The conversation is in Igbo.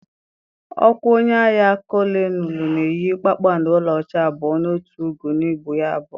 Ọkwa onye agha kolonelụ na-eyi kpakpando ọlaọcha abụọ na otu ugo n’ubu ya abụọ.